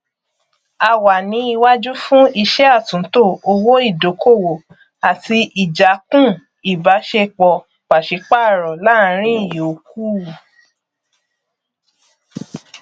a wà ní iwájú fún iṣẹ àtúntò owó ìdókòwò àti ìjákùn ìbáṣepọ pàsípàrọ láàrin yòókù